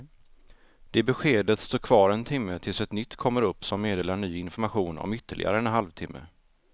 Det beskedet står kvar en timme tills ett nytt kommer upp som meddelar ny information om ytterligare en halv timme.